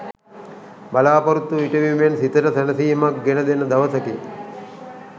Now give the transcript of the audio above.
බලා‍පොරොත්තු ඉටුවීමෙන් සිතට සැනසීමක් ගෙන දෙන දවසකි.